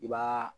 I b'aa